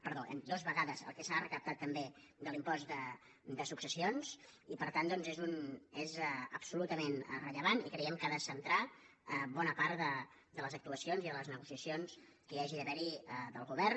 perdó dues vegades el que s’ha recaptat també de l’impost de successions i per tant és absolutament rellevant i creiem que ha de centrar bona part de les actuacions i de les negociacions que hi hagi d’haver del govern